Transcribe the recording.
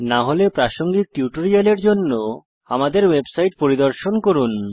না হলে প্রাসঙ্গিক টিউটোরিয়ালের জন্য আমাদের ওয়েবসাইট পরিদর্শন করুন